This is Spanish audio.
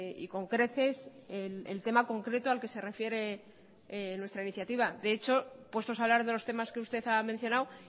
y con creces el tema concreto al que se refiere nuestra iniciativa de hecho puestos a hablar de los temas que usted ha mencionado